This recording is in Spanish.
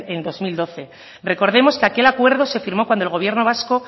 en dos mil doce recordemos que aquel acuerdo se firmó cuando el gobierno vasco